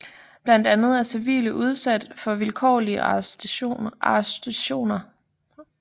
Blandt andet er civile udsat for vilkårlige arrestationer